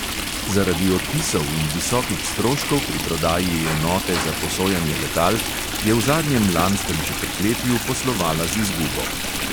Zaradi odpisov in visokih stroškov pri prodaji enote za posojanje letal je v zadnjem lanskem četrtletju poslovala z izgubo.